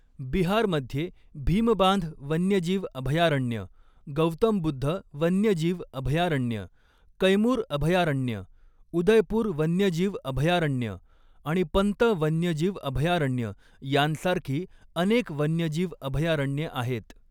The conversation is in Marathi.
बिहारमध्ये भीमबांध वन्यजीव अभयारण्य, गौतम बुद्ध वन्यजीव अभयारण्य, कैमूर अभयारण्य, उदयपूर वन्यजीव अभयारण्य आणि पंत वन्यजीव अभयारण्य यांसारखी अनेक वन्यजीव अभयारण्ये आहेत.